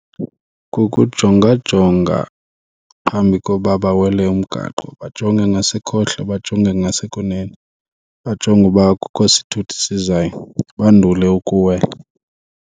Kukujonga jonga phambi koba bawele umgaqo. Bajonge ngasekhohlo, bajonge ngasekunene. bajonge uba akukho sithuthi sizayo bandule ukuwela.